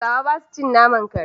Hausawa ba sa cin naman kare.